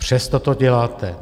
Přesto to děláte.